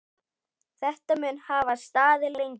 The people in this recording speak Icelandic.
Þetta mun hafa staðið lengi.